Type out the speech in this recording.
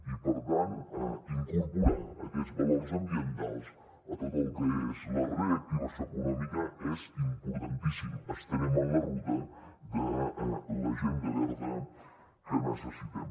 i per tant incorporar aquests valors ambientals a tot el que és la reactivació econòmica és importantíssim estarem en la ruta de l’agenda verda que necessitem